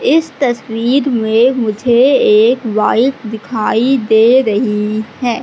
इस तस्वीर में मुझे एक बाइक दिखाई दे रही है।